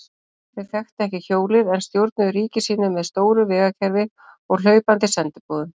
Þeir þekktu ekki hjólið en stjórnuðu ríki sínu með stóru vegakerfi og hlaupandi sendiboðum.